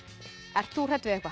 ert þú hrædd við eitthvað